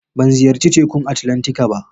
Ban ziyarci Tekun Atlantika ba.